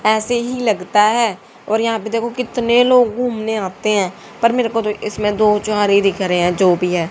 ऐसे ही लगता है और यहां पे देखो कितने लोग घूमने आते हैं पर मेरे को इसमें दो चार ही दिख रहे हैं जो भी है।